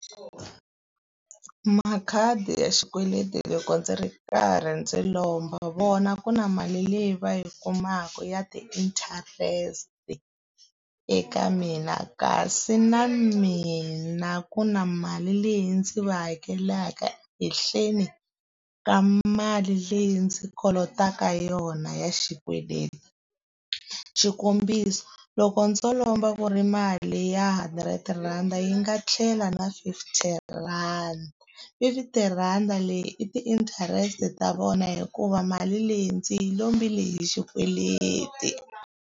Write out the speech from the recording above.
Makhadi ya xikweleti loko ndzi ri karhi ndzi lomba vona ku na mali leyi va yi kumaka ya ti-interest eka mina, kasi na mina ku na mali leyi ndzi va hakelaka hehleni ka mali leyi ndzi kolotaka yona ya xikweleti. Xikombiso loko ndzo lomba ku ri mali ya hundred rhandi yi nga tlhela na fifty rhandi, fifty rand-a leyi i ti-interest ta vona hikuva mali leyi ndzi yi lombile hi xikweleti.